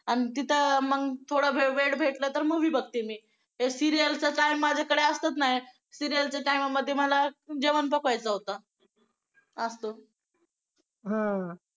आणि तिथं थोडं वेळ भेटलं तर movie बघते. मी serial च काय माझ्याकडे असत नाही. serial च्या time मध्ये मला जेवण पकवायचा होता असतं हम्म